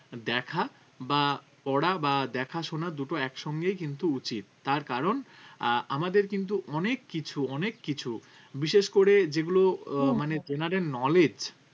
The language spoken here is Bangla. দেখা বা পড়া বা দেখা শোনা দুটো একসঙ্গে কিন্তু উচিত তার কারণ আহ আমাদের কিন্তু অনেক কিছু অনেক কিছু বিশেষ করে যেগুলো আহ মানে general Knowledge